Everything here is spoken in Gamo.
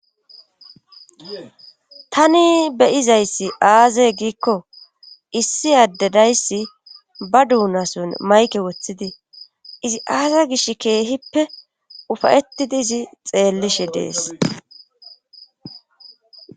Tani beyizayssi aaze giikko issi addedayssi ba duunason mayke woththidi izi aaza gish keehippe ufayetidi izi xeellishe dees.